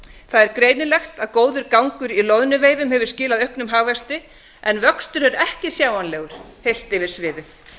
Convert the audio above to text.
er greinilegt að gangur í loðnuveiðum hefur skilað auknum hagvexti en vöxtur er ekki sjáanlegur heilt yfir sviðið